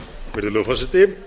virðulegi forseti ég